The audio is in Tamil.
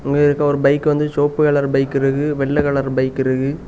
அங்க இருக்க ஒரு பைக் வந்து செவப்பு கலர் பைக் இருக்கு வெள்ளை கலர் பைக் இருக்கு.